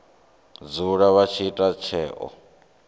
dzula vha tshi ita tsheo